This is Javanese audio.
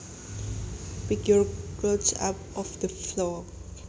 Pick your clothes up off the floor